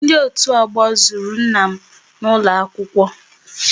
Ndị otu ọgbọ zuru nna m n'ụlọ akwụkwọ